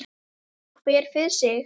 Svari nú hver fyrir sig.